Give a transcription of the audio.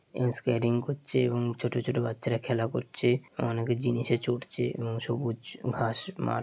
এও স্কেডিং করছে এবং ছোট ছোট বাচ্চারা খেলা করছে অনেকে জিনিসে চড়ছে উম সবুজ ঘাস মাঠ ।